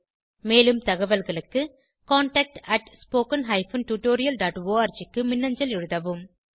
மேலும் தகவல்களுக்கு contactspoken tutorialorg க்கு மின்னஞ்சல் எழுதவும்